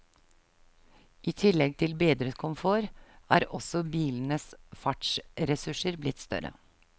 I tillegg til bedret komfort, er også bilenes fartsressurser blitt større.